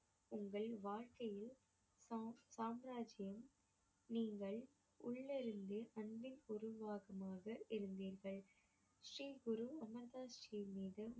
உங்கள் வாழ்க்கையில் சாம்~ சாம்ராஜ்யம் நீங்கள் உள்ள இருந்து அன்பின் உருவாக்கமாக இருந்தீர்கள் ஸ்ரீ குரு அமர் தாஸ் ஜி மீது